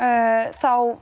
þá